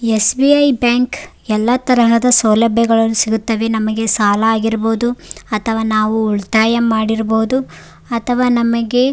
SBI bank ಎಲ್ಲಾ ತರದ ಸೌಲಭ್ಯಗಳು ಸಿಗುತ್ತದೆ ನಮ್ಗೆ ಸಾಲ ಆಗಿರ್ಬಹುದು ಅಥವಾ ನಾವು ಉಳಿತಾಯ ಮಾಡಿರ್ಬಹುದು ಅಥವ ನಮಗೆ --